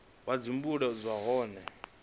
vha dzi bule nahone vha